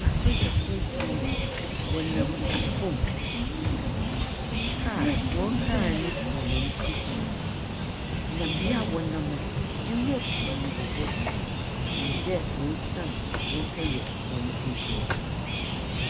Asogyafoɔ kuo, wɔnam fam. Kaa hɔn kaar no dzi hɔn ekyir, na bea a wɔnam no, nwura pi wɔ hɔ. Ɛnyim dɛ woesian a wɔrekɛyɛ hɔn edwuma.